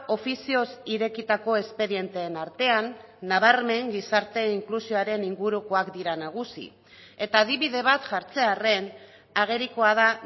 ofizioz irekitako espedienteen artean nabarmen gizarte inklusioaren ingurukoak dira nagusi eta adibide bat jartzearren agerikoa da